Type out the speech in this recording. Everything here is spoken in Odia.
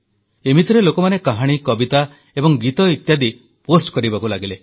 ଏମିତିରେ ଲୋକମାନେ କାହାଣୀ କବିତା ଏବଂ ଗୀତ ଇତ୍ୟାଦି ପୋଷ୍ଟ କରିବାକୁ ଲାଗିଲେ